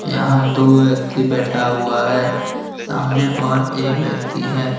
यहां दो व्यक्ति बैठा हुआ है सामने और एक व्यक्ति है।